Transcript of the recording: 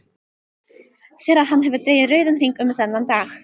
Sér að hann hefur dregið rauðan hring um þennan dag.